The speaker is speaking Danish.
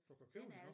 Du kan købe den ovre